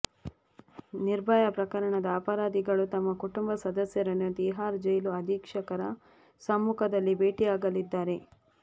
ನಿರ್ಭಯಾ ಪ್ರಕರಣದ ಅಪರಾಧಿಗಳು ತಮ್ಮ ಕುಟುಂಬ ಸದಸ್ಯರನ್ನು ತಿಹಾರ್ ಜೈಲು ಅಧೀಕ್ಷಕರ ಸಮ್ಮುಖದಲ್ಲಿ ಭೇಟಿಯಾಗಲಿದ್ದಾರೆ